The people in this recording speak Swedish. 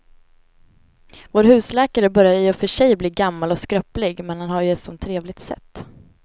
Vår husläkare börjar i och för sig bli gammal och skröplig, men han har ju ett sådant trevligt sätt!